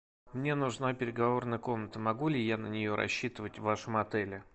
мне нужна переговорная комната могу ли я на нее рассчитывать в вашем отеле